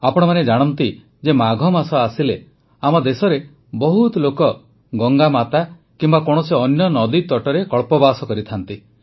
ଆପଣମାନେ ଜାଣନ୍ତି ଯେ ମାଘ ମାସ ଆସିଲେ ଆମ ଦେଶରେ ବହୁତ ଲୋକ ଗଙ୍ଗାମାତା କିମ୍ବା କୌଣସି ଅନ୍ୟ ନଦୀତଟରେ କଳ୍ପବାସ କରିଥାନ୍ତି